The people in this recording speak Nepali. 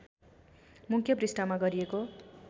मुख्य पृष्ठमा गरिएको